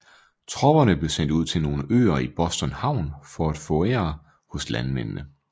Tropperne blev sendt ud til nogle øer i Boston havn for at fouragere hos landmændene